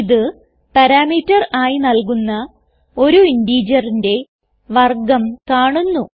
ഇത് പരംതേർ ആയി നൽകുന്ന ഒരു ഇന്റിജറിന്റെ വർഗം കാണുന്നു